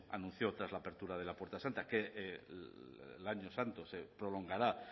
anunció tras la apertura de la puerta santa que el año santo se prolongará